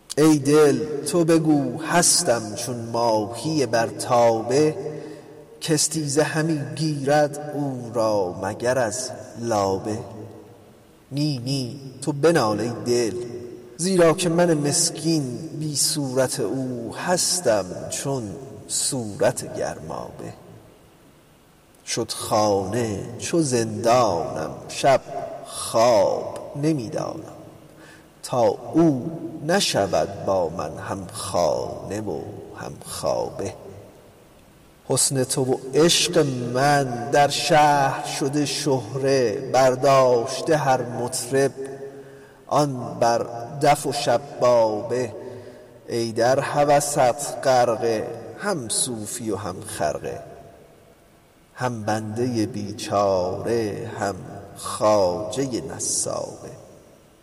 ای دل تو بگو هستم چون ماهی بر تابه کاستیزه همی گیرد او را مگر از لابه نی نی تو بنال ای دل زیرا که من مسکین بی صورت او هستم چون صورت گرمابه شد خانه چو زندانم شب خواب نمی دانم تا او نشود با من همخانه و همخوابه حسن تو و عشق من در شهر شده شهره برداشته هر مطرب آن بر دف و شبابه ای در هوست غرقه هم صوفی و هم خرقه هم بنده بیچاره هم خواجه نسابه